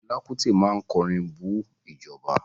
Fẹlá Kútì máa kọrin bú ìjọba.